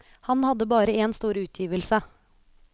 Han hadde bare en stor utgivelse.